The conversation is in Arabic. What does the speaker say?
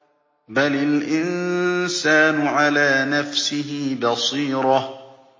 بَلِ الْإِنسَانُ عَلَىٰ نَفْسِهِ بَصِيرَةٌ